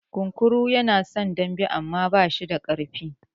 Kunkuru yana son dambe amma bashi da ƙasa.